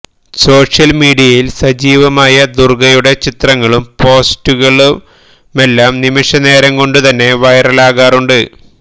social മീഡിയയില് സജീവമായ ദുര്ഗ്ഗയുടെ ചിത്രങ്ങളും പോസ്റ്റുകളുമെല്ലാം നിമിഷനേരം കൊണ്ടുതന്നെ വൈറലാകാറുണ്ട്